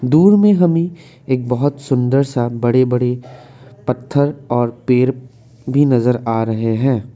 दूर में हमें एक बहुत सुंदर सा बड़े बड़े पत्थर और पेड़ भी नजर आ रहे हैं।